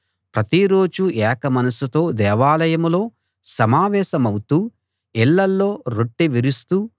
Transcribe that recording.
ప్రతిరోజూ ఏక మనసుతో దేవాలయంలో సమావేశమౌతూ ఇళ్ళలో రొట్టె విరుస్తూ